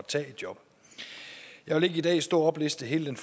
tage et job jeg vil ikke i dag stå og oplæse hele den